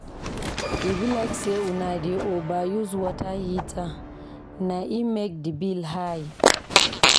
E be like sey una dey overuse water heater na im make di bill high.